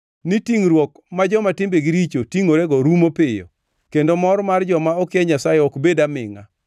ni tingʼruok ma joma timbegi richo tingʼorego rumo piyo, kendo mor mar joma okia Nyasaye ok bed amingʼa.